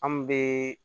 An bɛ